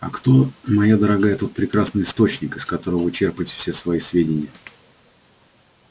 а кто моя дорогая тот прекрасный источник из которого вы черпаете все свои сведения